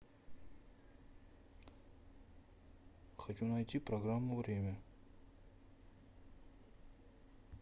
хочу найти программу время